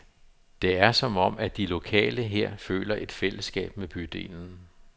Det er som om, at de lokale her føler et fællesskab med bydelen.